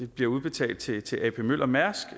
bliver udbetalt til til ap møller mærsk